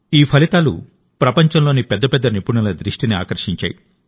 ఈ ఫలితాలు ప్రపంచంలోని పెద్ద పెద్ద నిపుణుల దృష్టిని ఆకర్షించాయి